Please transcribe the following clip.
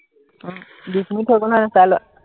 বিশ মিনিট হৈ গল নাই জানো চাই লোৱা